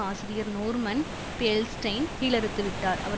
ஆசிரியர் நோர்மன் பியல்ஸ்டெயின் கீழறுத்துவிட்டார் அவர்